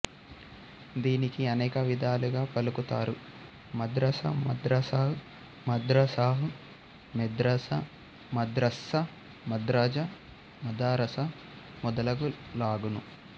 దీనికి అనేక విధాలుగా పలుకుతారు మద్రసా మద్రసాహ్ మదరసాహ్ మెద్రసా మద్రస్సా మద్రజా మదారసా మొదలగు లాగున